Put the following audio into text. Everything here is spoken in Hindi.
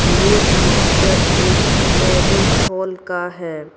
ये पिक्चर एक मैरिज हॉल का है।